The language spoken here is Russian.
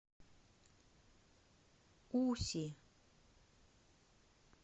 уси